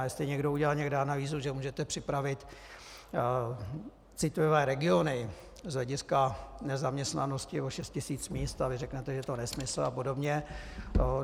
A jestli někdo udělal někde analýzu, že můžete připravit citlivé regiony z hlediska nezaměstnanosti o šest tisíc míst, a vy řeknete - je to nesmysl a podobně...